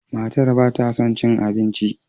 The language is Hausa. Matar ba ta son cin abinci.